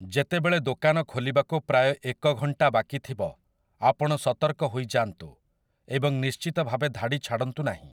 ଯେତେବେଳେ ଦୋକାନ ଖୋଲିବାକୁ ପ୍ରାୟ ଏକ ଘଣ୍ଟା ବାକିଥିବ, ଆପଣ ସତର୍କ ହୋଇଯାଆନ୍ତୁ ଏବଂ ନିଶ୍ଚିତ ଭାବେ ଧାଡ଼ି ଛାଡ଼ନ୍ତୁ ନାହିଁ ।